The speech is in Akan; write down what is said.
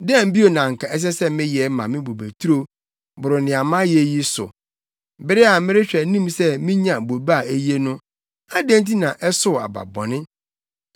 Dɛn bio na anka ɛsɛ sɛ meyɛ ma me bobeturo boro nea mayɛ yi so? Bere a merehwɛ anim sɛ minya bobe a eye no adɛn nti na ɛsow aba bɔne?